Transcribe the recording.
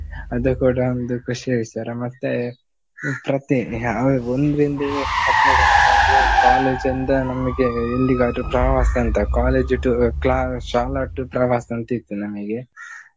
ಅದು ಕೂಡ ಒಂದು ಖುಷಿಯ ವಿಚಾರ ಮತ್ತೆ ಮತ್ತೆ ನಾವ್ ಒಂದ್ರಿಂದ ಹತ್ನೇ ತನಕ ಅಂದು college ಯಿಂದ ನಮ್ಗೆ Indiga ದ್ದು ಪ್ರವಾಸ ಅಂತ. college tour class ಶಾಲಾ to~ ಪ್ರವಾಸದಂತೆ ಇತ್ತು ನಮ್ಗೆ .